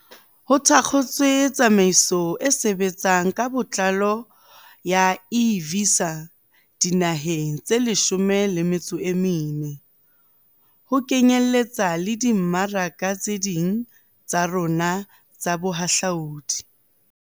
Ho thakgotswe tsamaiso e sebtsang ka botlalo ya e-Visa dinaheng tse 14, ho kenyeletsa le dimmaraka tse ding tsa rona tsa bohahlaodi.